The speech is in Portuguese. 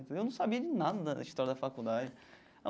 Eu falei eu não sabia de nada da história da faculdade.